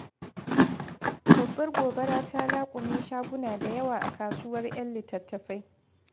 Babbar gobara ta laƙume shagunan da yawa a kasuwar 'yan littattafai.